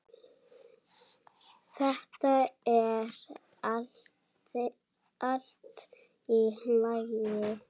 Þetta er allt í lagi.